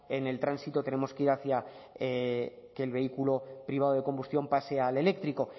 en el tránsito tenemos que ir hacia que el vehículo privado de combustión pase al eléctrico